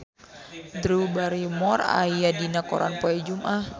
Drew Barrymore aya dina koran poe Jumaah